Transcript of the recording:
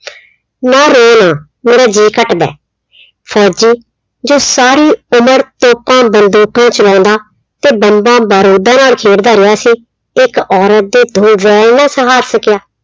ਨਾ ਰੋ ਨਾ ਮੇਰਾ ਜੀ ਘੱਟਦਾ, ਫੌਜੀ ਜੋ ਸਾਰੀ ਉਮਰ ਤੋਪਾਂ, ਬੰਦੂਕਾਂ ਚਲਾਉਂਦਾ ਤੇ ਬੰਬਾਂ, ਬਾਰੂਦਾਂ ਨਾਲ ਖੇਡਦਾ ਰਿਹਾ ਸੀ, ਇੱਕ ਔਰਤ ਦੇ ਦੋ ਨਾ ਸਹਾਰ ਸਕਿਆ।